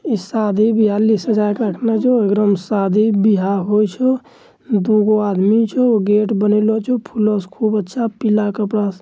इ शादी बियाह ली सजा के रखलो छो एकरा मे शादी बियाह होय छो दुगो आदमी छो गेट बनेलो छो फूला से खूब अच्छा पीला कपड़ा --